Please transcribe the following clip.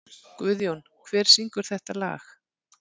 Guðjón, hver syngur þetta lag?